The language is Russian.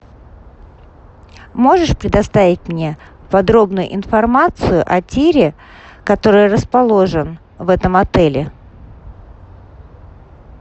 можешь предоставить мне подробную информацию о тире который расположен в этом отеле